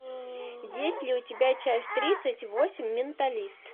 есть ли у тебя часть тридцать восемь менталист